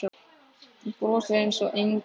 Þú brosir einsog engill.